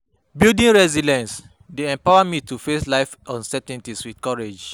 Building resilience dey empower me to face life’s uncertainties with courage.